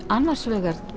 annars vegar